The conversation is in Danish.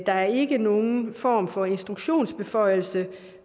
der ikke er nogen form for instruktionsbeføjelse